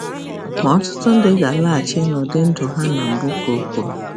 Ma ọtụtụ ndị ga-alaghachi n'ụdị ndụ ha na mbụ, ka o kwuru